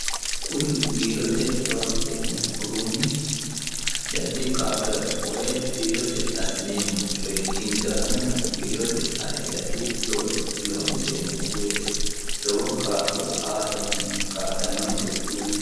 kuni biirote loonseemmo uduunnichi addi adi kaa'lora konne biirote assinanneemmo coyi injaannonna addi addi looso loonseemmo wote lowo kaa'lo aatenni kaa'lannonkeho.